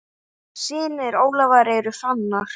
Synir Ólafar eru Fannar.